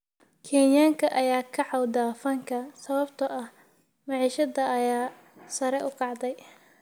Kenyaanka ayaa ka cawda fanka sababtoo ah maciishada ayaa sare u kacday